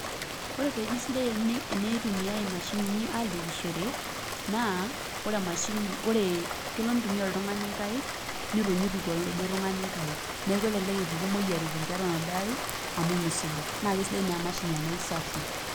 Ore pee eji sidai pee itumiai imashinini aalepishore naa kelo nitumia oltung'ani nkaik nitu ituku oladuo tung'ani nkaik neeku kelelek epuku imoyiaritin toonaduo aaik amu misuja naa kesidai naa emashini amu kesafi.